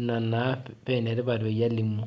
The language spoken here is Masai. ina pa enetipat analimu